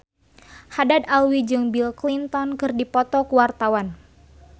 Haddad Alwi jeung Bill Clinton keur dipoto ku wartawan